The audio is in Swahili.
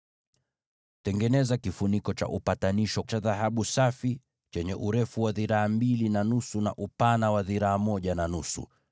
“Tengeneza kifuniko cha upatanisho cha dhahabu safi, chenye urefu wa dhiraa mbili na nusu, na upana wa dhiraa moja na nusu.